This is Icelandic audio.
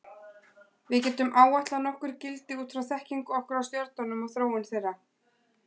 Við getum áætlað nokkur gildi út frá þekkingu okkar á stjörnum og þróun þeirra.